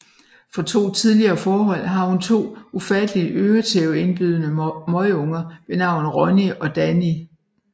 Fra to tidligere forhold har hun to ufatteligt øretæveindbydende møgunger ved navn Ronni og Danni